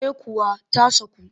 Eh kuwa ta saku